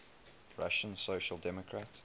russian social democratic